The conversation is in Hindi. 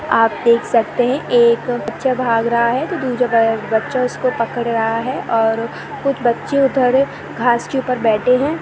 आप देख सकते है एक बच्चा भाग रहा है तो दूजा बच्चा उसको पकड़ रहा हैऔर कुछ बच्चे उधर घास के ऊपर बैठे है ।